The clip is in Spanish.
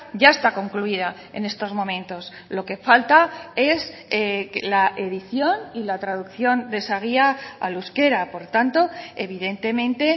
ya está concluida en estos momentos lo que falta es la edición y la traducción de esa guía al euskera por tanto evidentemente